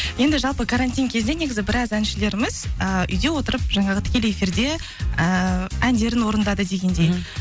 енді жалпы карантин кезінде негізі біраз әншілеріміз і үйде отырып жаңағы тікелей эфирде ііі әндерін орындады дегендей мхм